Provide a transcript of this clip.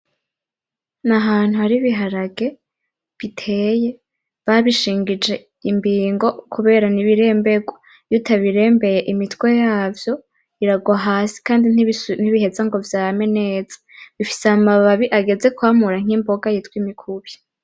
N'ahantu hari ibiharage biteye babishije imbingo kubera n'ibirenberwa iyo utabirembeye imitwe yavyo irarwa hasi kandi ntibiheza ngo vyame neza bifise amababi ageze kwamura nk'imboga yitwa imikubi.